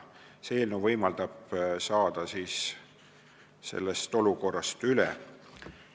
See eelnõu võimaldab sellest olukorrast üle saada.